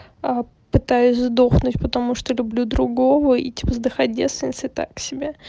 пытаюсь сдохнуть потому что люблю другого и типа сдыхать девственницей так себе